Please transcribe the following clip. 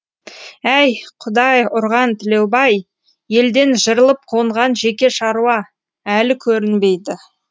әй құдай ұрған тілеубай елден жырылып қонған жеке шаруа әлі көрінбейді